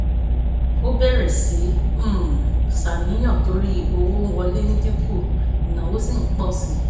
ó bẹ̀rẹ̀ sí í um ṣàníyàn torí owó wọlé dín kù ináwó sì pọ̀ sí i